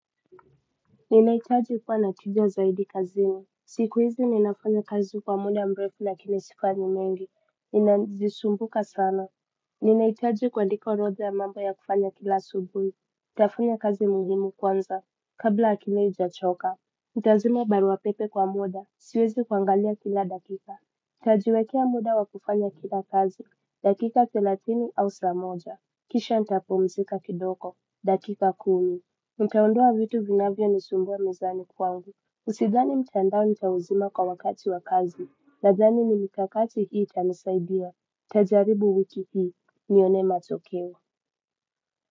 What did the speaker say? Ninahitaji kuwa nakijuwa zaidi kazini. Siku hizi ninafanya kazi kwa muda mrefu lakini sifanyi mengi. Ninazisumbuka sana. Ninahitaji kuandika orodha ya mambo ya kufanya kila subuhi. Nitafanya kazi muhimu kwanza. Kabla akile hijachoka. Nitazima barua pepe kwa muda. Siwezi kwangalia kila dakika. nitajiwekea muda wa kufanya kila kazi. Dakika thelathini au saa moja. Kisha nitapumzika kidogo. Dakika kumi. Nitaondoa vitu vinavyo ni sumbua mezani kwangu Usidhani mtandao ni cha uzima kwa wakati wa kazi. Nadhani ni mikakati hii itanisaidia nitajaribu wiki hii nione matokeo.